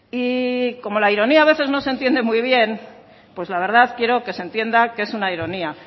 y como la ironía a veces no se entiende muy bien pues la verdad quiero que se entienda que es una ironía